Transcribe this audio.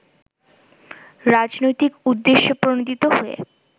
রাজনৈতিক উদ্দেশ্যপ্রণোদিত হয়ে